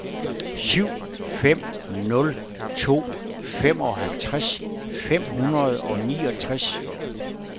syv fem nul to femoghalvtreds fem hundrede og niogtres